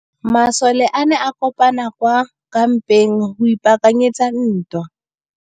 Masole a ne a kopane kwa kampeng go ipaakanyetsa ntwa.